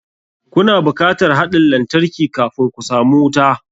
Ku na bukatar haɗin lantarki kafun ku samu wuta.